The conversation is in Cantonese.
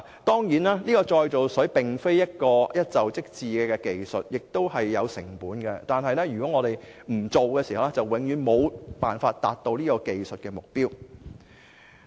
當然，再造水並非一蹴而就的技術，並且有成本，然而，如果我們不推行，便永遠無法達到這技術的目標。